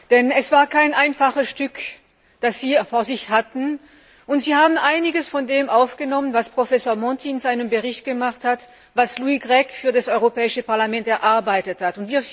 Denn es war kein einfaches Stück Arbeit, das Sie vor sich hatten, und Sie haben einiges von dem aufgenommen, was Professor Monti in seinem Bericht formuliert hat, was Louis Grech für das Europäische Parlament erarbeitet hat.